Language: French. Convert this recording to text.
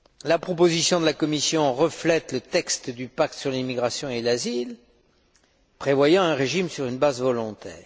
La proposition de la Commission reflète le texte du pacte sur l'immigration et l'asile, prévoyant un régime sur une base volontaire.